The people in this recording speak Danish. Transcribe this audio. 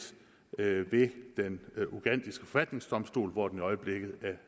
ved den ugandiske forfatningsdomstol hvor den øjeblikket